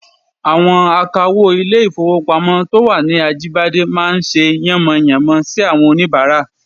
Àwọn akawó ilé-ìfowópamọ́ to wà ní Ajíbádé máa ń ṣe yánmọyànmọ sí àwọn oníbàárà